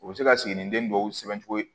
U bɛ se ka siginiden dɔw sɛbɛncogo